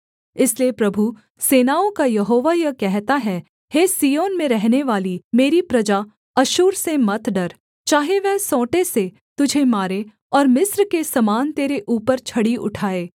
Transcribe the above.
इसलिए प्रभु सेनाओं का यहोवा यह कहता है हे सिय्योन में रहनेवाली मेरी प्रजा अश्शूर से मत डर चाहे वह सोंटें से तुझे मारे और मिस्र के समान तेरे ऊपर छड़ी उठाए